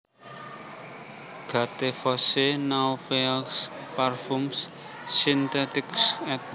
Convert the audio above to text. Gattefossé Nouveaux parfums synthétiques éd